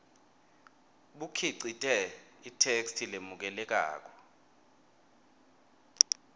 bukhicite itheksthi lemukelekako